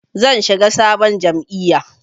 Zan shiga sabon jam'iyya.